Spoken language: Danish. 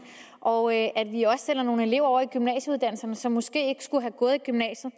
og at vi også sender nogle elever over i gymnasieuddannelserne som måske ikke skulle have gået i gymnasiet